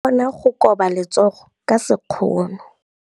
O ka kgona go koba letsogo ka sekgono.